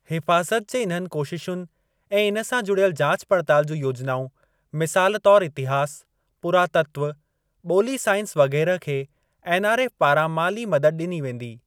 हिफ़ाज़त जे इन्हनि कोशिशुनि ऐं इन सां जुड़ियल जाच पड़ताल जूं योजनाऊं, मिसाल तौर इतिहास, पुरातत्व, ॿोली साइंस वगै़रह खे एनआरएफ़ पारां माली मदद ॾिनी वेंदी।